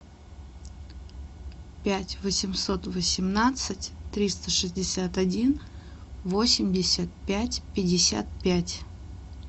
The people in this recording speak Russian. пять восемьсот восемнадцать триста шестьдесят один восемьдесят пять пятьдесят пять